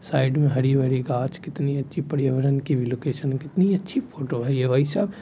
Side में हरी भरी घास कितनी अच्छी पर्यावरण की लोकेशन की कितनी अच्छी फोटो है ये भाई साब।